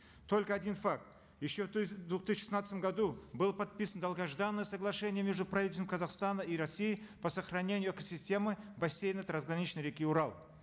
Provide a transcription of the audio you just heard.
только один факт еще в в две тысячи шестнадцатом году было подписано долгожданное соглашение между правительством казахстана и россии по сохранению экосистемы бассейна трансграничной реки урал